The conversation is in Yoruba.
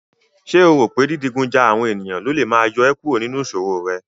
Ṣé o rò pé dídigun ja àwọn ènìyàn lólè máa yọ ẹ́ kúrò nínú ìṣòro rẹ?